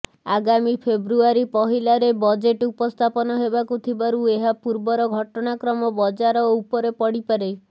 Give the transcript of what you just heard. ଆଗାମୀ ଫେବୃଆରୀ ପହିଲାରେ ବଜେଟ ଉପସ୍ଥାପନ ହେବାକୁ ଥିବାରୁ ଏହା ପୂର୍ବର ଘଟଣାକ୍ରମ ବଜାର ଉପରେ ପଡିପାରେ